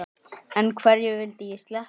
En hverju vildi ég sleppa?